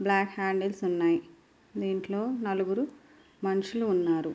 Black handles ఉన్నాయి దీంట్లో నలుగురు మనుషులు ఉన్నారు.